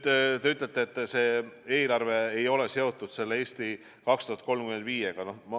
Te ütlete, et see eelarve ei ole seotud selle "Eesti 2035-ga".